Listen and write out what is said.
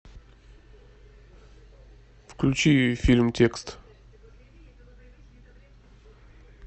включи фильм текст